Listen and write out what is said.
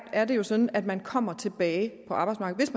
er det jo sådan at man kommer tilbage på arbejdsmarkedet